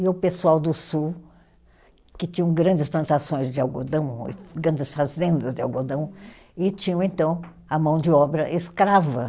E o pessoal do sul, que tinham grandes plantações de algodão, grandes fazendas de algodão, e tinham, então, a mão de obra escrava.